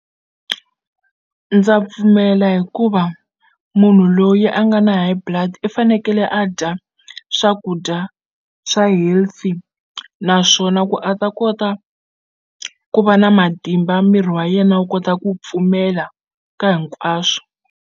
Ndza pfumela hikuva munhu loyi a nga na High Blood i fanekele a dya swakudya swa healthy naswona ku a ta kota ku va na matimba miri wa yena wu kota ku pfumela ka hinkwaswo.